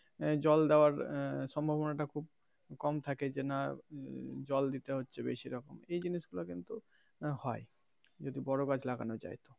আহ জল দেওয়ার সম্ভাবনা টা খুব কম থাকে যে না জল দিতে হচ্ছে বেশি রকম এই জিনিস গুলা কিন্তু হয় যদি বড়ো গাছ লাগানো যায়.